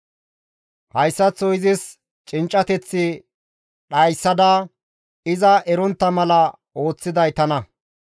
Hayssaththo izis cinccateth dhayssada iza erontta mala ooththiday tana.